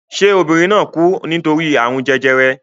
Ṣé obìnrin náà kú nítorí àrùn jẹjẹrẹ?